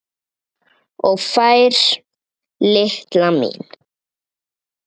Og fær, litla mín.